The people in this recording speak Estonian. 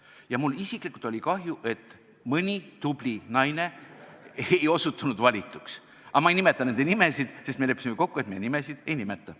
Ja mul isiklikult oli kahju, et mõni tubli naine ei osutunud valituks, aga ma ei nimeta nende nimesid, sest me leppisime kokku, et me nimesid ei nimeta.